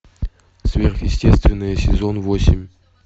сверхъестественное сезон восемь